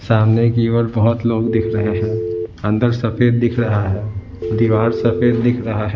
सामने की ओर बहुत लोग दिख रहे हैं अंदर सफेद दिख रहा है दीवार सफेद दिख रहा है।